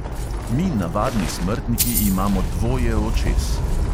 Mi, navadni smrtniki, imamo dvoje očes.